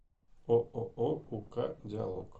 ооо ук диалог